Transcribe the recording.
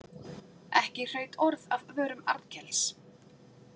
Ekki hraut orð af vörum Arnkels.